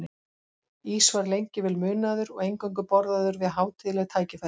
Ís var lengi vel munaður og eingöngu borðaður við hátíðleg tækifæri.